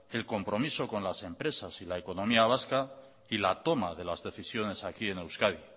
el compromiso son las empresas y la economía vasca y la toma de las decisiones aquí en euskadi